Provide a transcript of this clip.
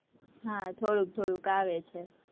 હા, થોડુંક થોડુંક આવે છે.